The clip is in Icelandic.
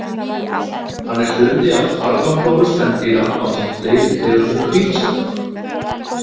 Hann er hluti af þarmaflóru spendýra ásamt fleiri tegundum hvítsveppa.